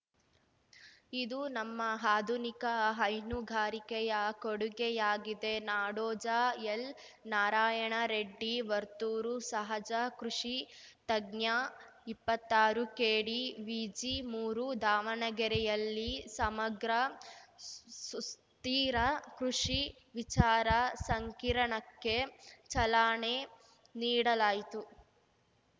ಇದು ನಮ್ಮ ಆಧುನಿಕ ಹೈನುಗಾರಿಕೆಯ ಕೊಡುಗೆಯಾಗಿದೆ ನಾಡೋಜ ಎಲ್‌ನಾರಾಯಣರೆಡ್ಡಿ ವರ್ತೂರು ಸಹಜ ಕೃಷಿ ತಜ್ಞ ಇಪ್ಪತ್ತಾರುಕೆಡಿವಿಜಿಮೂರು ದಾವಣಗೆರೆಯಲ್ಲಿ ಸಮಗ್ರ ಸುಸ್ಥಿರ ಕೃಷಿ ವಿಚಾರ ಸಂಕಿರಣಕ್ಕೆ ಚಲಾನೆ ನೀಡಲಾಯಿತು